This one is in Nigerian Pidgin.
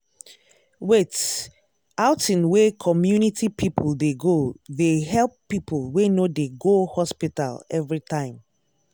wait- outing wey community people dey go they help people wey no dey go hospital everytime.